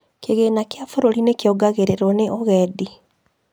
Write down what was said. Kigina kia bũrũri nĩkĩongagĩrĩrwo nĩ ũgendi